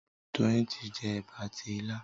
Doyin tí jé eba àti ila